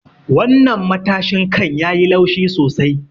Wannan matashin kan yayi laushi sosai.